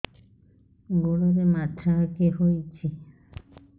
ଗୋଡ଼ରେ ମାଛଆଖି ହୋଇଛି